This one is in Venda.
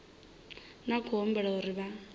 na khou humbulela uri vha